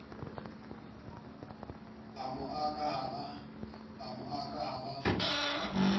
a mo aka ha ba